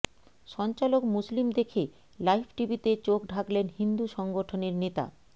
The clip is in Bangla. সঞ্চালক মুসলিম দেখে লাইভ টিভিতে চোখ ঢাকলেন হিন্দু সংগঠনের নেতা